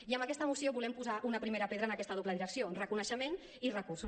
i amb aquesta moció volem posar una primera pedra en aquesta doble direcció reconeixement i recursos